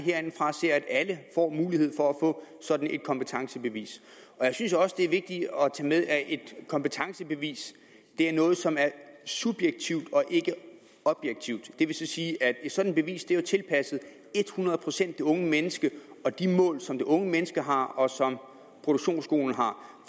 ser at alle får muligheden for at få sådan et kompetencebevis jeg synes også det er vigtigt at tage med at et kompetencebevis er noget som er subjektivt og ikke objektivt det vil sige at et sådant bevis er tilpasset hundrede procent det unge menneske og de mål som det unge menneske har og som produktionsskolen har